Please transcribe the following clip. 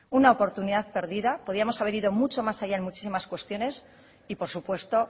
una oportunidad perdida podríamos haber ido mucho más allá en muchísimas cuestiones y por supuesto